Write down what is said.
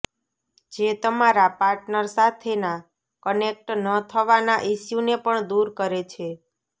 જે તમારા પાર્ટનર સાથેના કનેક્ટ ન થવાના ઇશ્યુને પણ દૂર કરે છે